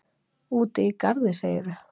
Úti í garði, segirðu?